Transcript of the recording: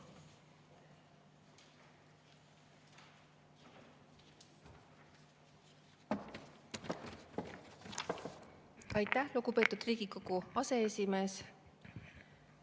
Aitäh, lugupeetud Riigikogu aseesimees!